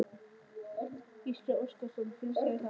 Gísli Óskarsson: Finnst þér það?